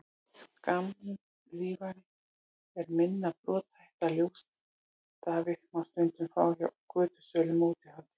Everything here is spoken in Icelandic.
skammlífari en minna brothætta ljósstafi má stundum fá hjá götusölum á útihátíðum